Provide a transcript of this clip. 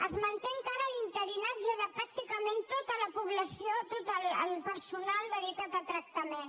es manté encara l’interinatge de pràctica·ment tot el personal dedicat a tractament